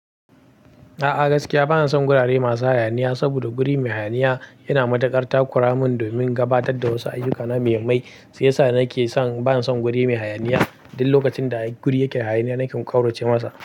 A'a gaskiya bana son gurare masu hayaniya saboda guri mai hayaniya yana matakar takura mun domin gabatar da wasu ayyuka na mahimai. Shi yasa nake son bana son guri mai hayaniya. Duk lokacin da guri yake hayaniya nake kauroce masa.